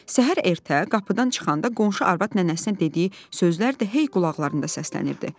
Səhər ertə qapıdan çıxanda qonşu arvad nənəsinə dediyi sözlər də hey qulaqlarında səslənirdi.